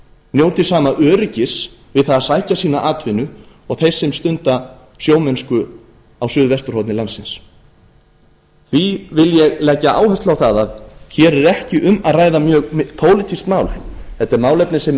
njóti sama öryggis við það að sækja sína atvinnu og þeir sem stunda sjómennsku á suðvesturhorni landsins því vil ég leggja áherslu á það að hér er ekki um að ræða pólitískt mál þetta er málefni sem er